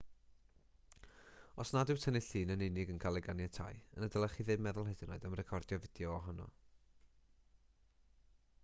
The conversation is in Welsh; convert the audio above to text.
os nad yw tynnu llun yn unig yn cael ei ganiatáu yna ddylech chi ddim meddwl hyd yn oed am recordio fideo ohono